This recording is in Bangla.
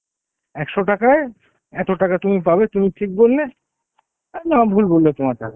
একশ টাকায় এত টাকা তুমি পাবে তুমি ঠিক বললে না ভুল বললে তোমার যাবে